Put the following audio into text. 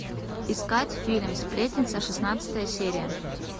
искать фильм сплетница шестнадцатая серия